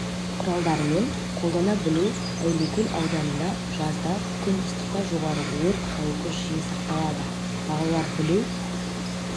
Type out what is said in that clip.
құралдарымен қолдана білу әулиекөл ауданында жазда күн ыстықта жоғары өрт қауіпі жиі сақталады балалар білу